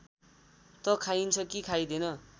त खाइन्छ कि खाइँदैन